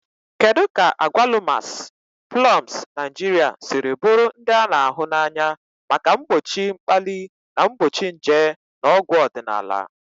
Kedu ka agwalumas, plums Naijiria siri bụrụ ndị a na-ahụ n'anya maka mgbochi mkpali na mgbochi nje na ọgwụ ọdịnala?.